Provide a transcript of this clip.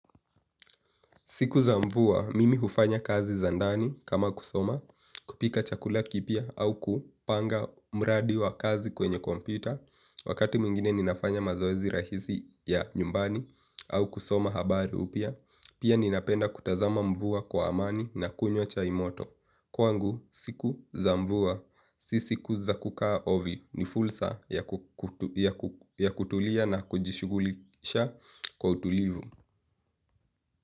Siku za mvua mimi hufanya kazi za ndani kama kusoma kupika chakula kipya au kupanga mradi wa kazi kwenye kompyuta. Wakati mwingine ninafanya mazoezi rahisi ya nyumbani au kusoma habari upya, pia ninapenda kutazama mvua kwa amani na kunywa chai moto. Kwangu, siku za mvua, si siku za kukaa ovi ni fursa ya kutulia na kujishugulisha kwa utulivu.